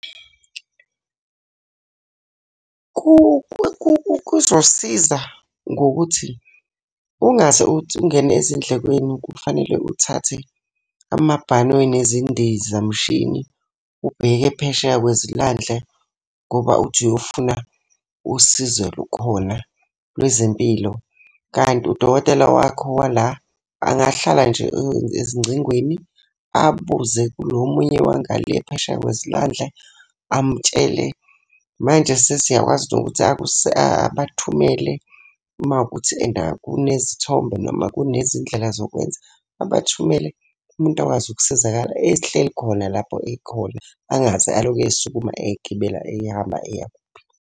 Kuzosiza ngokuthi ungaze ungene ezindlekweni kufanele uthathe amabhanoyi nezindizamshini ubheke phesheya kwezilwandle ngoba uthi uyofuna usizo lukhona lwezempilo. Kanti udokotela wakho wala angahlala nje ezingcingweni, abuze kulo munye wanga le phesheya kwezilwandle, amutshele. Manje sesiyakwazi nokuthi abathumele uma kuwukuthi and kunezithombe noma kunezindlela zokwenza. Abathumele umuntu akwazi ukusizakala ehleli khona lapho ekhona. Angaze alokhu esukuma egibela ehamba eya kuphi?